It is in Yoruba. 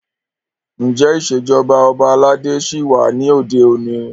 Ǹjẹ́ ìṣèjọba ọba aládé ṣí wà ní òde òní?